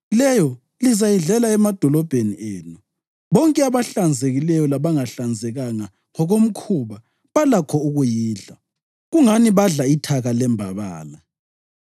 Leyo lizayidlela emadolobheni enu. Bonke abahlanzekileyo labangahlanzekanga ngokomkhuba balakho ukuyidla, kungani badla ithaka lembabala.